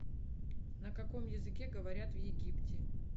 на каком языке говорят в египте